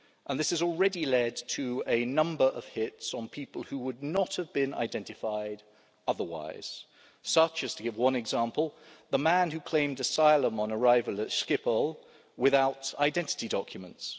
This has already led to a number of hits on people who would not have been identified otherwise, such as, to give one example, the man who claimed asylum on arrival at Schiphol without identity documents.